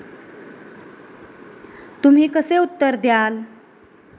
तुम्ही कसे उत्तर द्याल?